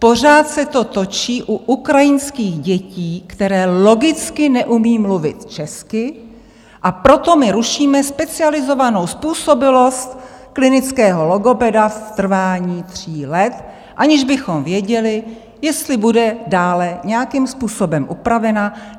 Pořád se to točí u ukrajinských dětí, které logicky neumí mluvit česky, a proto my rušíme specializovanou způsobilost klinického logopeda v trvání tří let, aniž bychom věděli, jestli bude dále nějakým způsobem upravena.